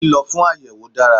Lílo fún àyèwò dára